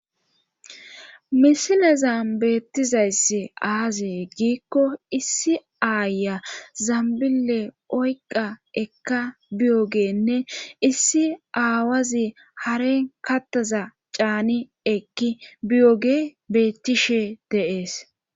misilezam beettizayssi aazee giikko issi aaya zambile oyqa ekka biyogeenne issi aawazi haren kattaza caani ekki biyoge bettishe de7es